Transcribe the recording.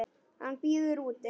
Hann bíður úti.